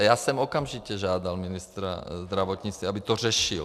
A já jsem okamžitě žádal ministra zdravotnictví, aby to řešil.